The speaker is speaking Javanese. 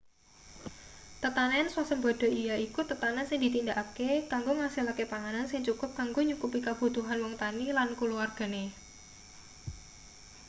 tetanen swasembada yaiku tetanen sing ditindakake kanggo ngasilake panganan sing cukup kanggo nyukupi kabutuhan wong tani lan kulawargane